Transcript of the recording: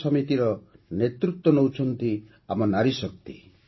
ଏହି ସମିତିର ନେତୃତ୍ୱ କରୁଛନ୍ତି ଆମ ନାରୀଶକ୍ତି